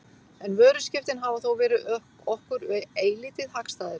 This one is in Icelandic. En vöruskiptin hafa þó verið okkur eilítið hagstæðari.